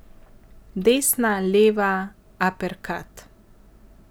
Desna, leva, aperkat.